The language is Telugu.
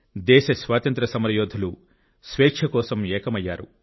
దేశ స్వాతంత్య్ర సమరయోధులు స్వేచ్ఛ కోసం ఏకమయ్యారు